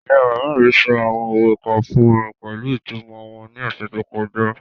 Ìyá-bàbá sọ àwọn òwe kan fún mi pẹ̀lú ìtumọ̀ wọn ní ọ̀sẹ̀ tó kọjá.